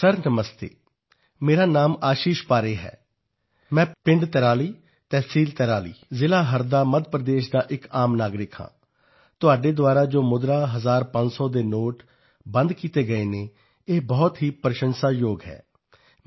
sir ਨਮਸਤੇ ਮੇਰਾ ਨਾਂ ਆਸ਼ੀਸ਼ ਪਾਰੇ ਹੈ ਮੈਂ ਪਿੰਡ ਤਿਰਾਲੀ ਤਹਿਸੀਲ ਤਿਰਾਲੀ ਜ਼ਿਲ੍ਹਾ ਹਰਦਾ ਮੱਧ ਪ੍ਰਦੇਸ਼ ਦਾ ਇੱਕ ਆਮ ਨਾਗਰਿਕ ਹਾਂ ਤੁਹਾਡੇ ਵੱਲੋਂ ਜੋ ਮੁਦਰਾ ਹਜ਼ਾਰਪੰਜ ਸੌ ਦੇ ਨੋਟ ਬੰਦ ਕੀਤੇ ਗਏ ਹਨ ਇਹ ਬਹੁਤ ਹੀ ਸ਼ਲਾਘਾਯੋਗ ਹੈ